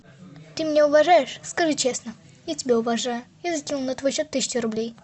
ты меня уважаешь скажи честно я тебя уважаю я закинул на твой счет тысячу рублей